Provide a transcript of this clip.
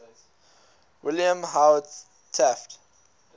william howard taft